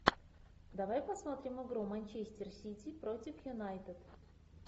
давай посмотрим игру манчестер сити против юнайтед